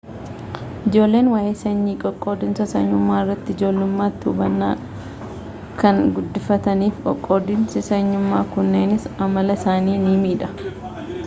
ijoolleen waa'ee sanyii fi qoqqoodinsa sanyummaa irratti ijoollummaatti hubannaa kan guddifatanii fi qoqqoodinsi sanyummaa kunneenis amala isaanii ni miidha